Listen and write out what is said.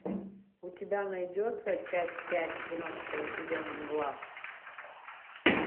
у тебя найдется часть пять тринадцатого сезона мгла